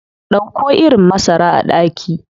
Dauko irin masara a daki.